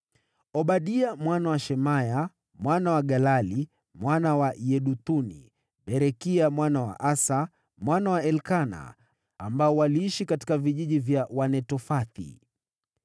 Obadia mwana wa Shemaya, mwana wa Galali, mwana wa Yeduthuni. Berekia mwana wa Asa, mwana wa Elikana, ambao waliishi katika vijiji vya Wanetofathi.